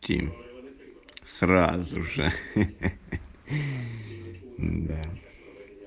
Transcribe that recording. те сразу же хах да